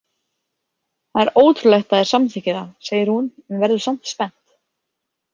Það er ótrúlegt að þeir samþykki það, segir hún en verður samt spennt.